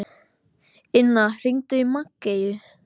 Inna, hringdu í Maggeyju.